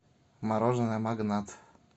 мороженое магнат